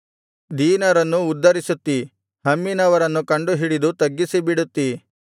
ದೀನರನ್ನು ಉದ್ಧರಿಸುತ್ತಿ ಹಮ್ಮಿನವರನ್ನು ಕಂಡುಹಿಡಿದು ತಗ್ಗಿಸಿಬಿಡುತ್ತಿ